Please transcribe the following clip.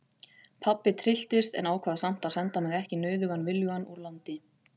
Pabbi trylltist en ákvað samt að senda mig ekki nauðugan viljugan úr landi.